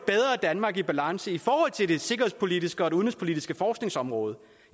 danmark i bedre balance i forhold til det sikkerhedspolitiske og det udenrigspolitiske forskningsområde